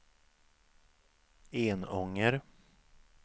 Enånger